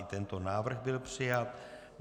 I tento návrh byl přijat.